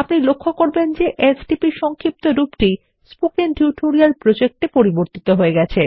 আপনিলক্ষ্যকরবেনযেSTP এর সংক্ষেপরূপটি spoken tutorial project এ পরিবর্তিত হয়ে যাচ্ছে